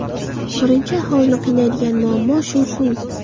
Birinchi aholini qiynaydigan muammo shu suv.